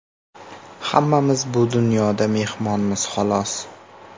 Hammamiz bu dunyoda mehmonmiz xolos.